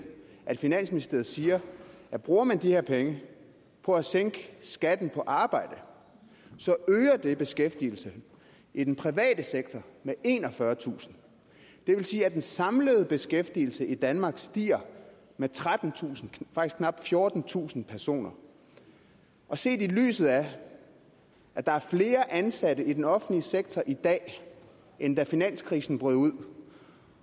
at finansministeriet siger at bruger man de her penge på at sænke skatten på arbejde øger det beskæftigelse i den private sektor med enogfyrretusind det vil sige at den samlede beskæftigelse i danmark stiger med knap fjortentusind personer set i lyset af at der er flere ansatte i den offentlige sektor i dag end da finanskrisen brød ud